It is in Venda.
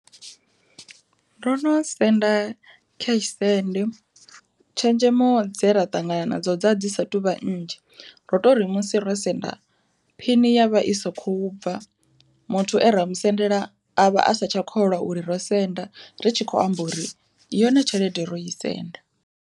Ndo no senda cash send tshenzhemo dze ra ṱangana nadzo dza dzi sa tu vha nnzhi, ro tori musi ro senda phini yavha i sa kho bva muthu are musendela avha a sa tsha kholwa uri ro senda ritshi kho amba uri yone tshelede ro i senda.